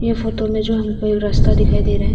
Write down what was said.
यह फोटो में जो हमको यह रास्ता दिखाई दे रहा है।